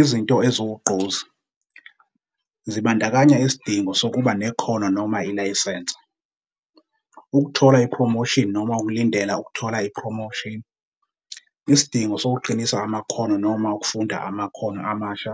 Izinto eziwugqozi, zibandakanya isidingo sokuba nekhono noma ilayisense, ukuthola ipromoshini noma ukulindela ukuthola ipromoshini, isidingo sokuqinisa amakhono noma ukufunda amakhono amasha,